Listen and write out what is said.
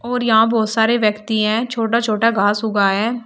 और यहां बहुत सारे व्यक्ति हैं छोटा छोटा घास उगा है।